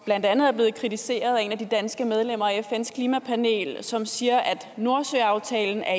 blandt andet er blevet kritiseret af et af de danske medlemmer af fns klimapanel som siger at nordsøaftalen er